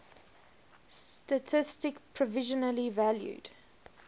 statistik provisionally valued